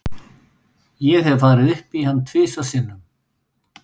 Ég hef farið upp í hann tvisvar sinnum.